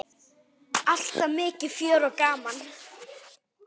Alltaf mikið fjör og gaman.